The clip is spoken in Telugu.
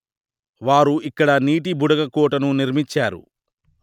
వారు ఇక్కడ నీటి బుడగ కోట ను నిర్మించారు